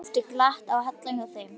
Oft er glatt á hjalla hjá þeim.